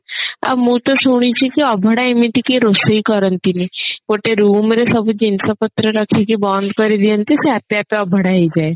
ଆଉ ମୁଁ ତ ଶୁଣିଛି କି ଅଭଡା ଏମିତି କିଏ ରୋଷେଇ କରନ୍ତିନି ଗୋଟେ room ରେ ସବୁ ଜିନିଷ ପତ୍ର ରଖିକି ବନ୍ଦ କରି ଦିଅନ୍ତି ସେ ଆପେ ଆପେ ଅଭଡା ହେଇ ଯାଏ